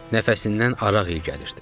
Nəfəsindən araq iyi gəlirdi.